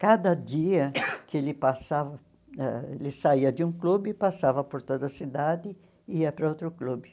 Cada dia que ele passava ãh ele saía de um clube, passava por toda a cidade e ia para outro clube.